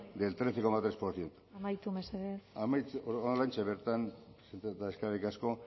del trece coma tres por ciento amaitu mesedez oraintxe bertan eskerrik asko